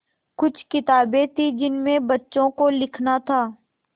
कुछ किताबें थीं जिनमें बच्चों को लिखना था